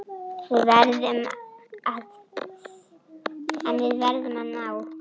En við verðum að ná